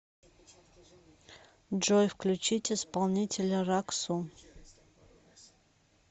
джой включить исполнителя рак су